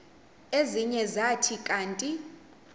ezinye zathi kanti